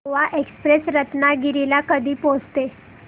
Goa express Ratnagiri ला कधी पोहचते